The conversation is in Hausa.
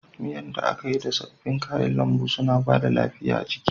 Miyan da aka yi da sabbin kayan lambu suna bada lafiya jiki